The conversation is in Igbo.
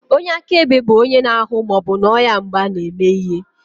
Onye akaebe bụ onye na-ahụ ma ọ bụ nọ ya mgbe a na-eme ihe.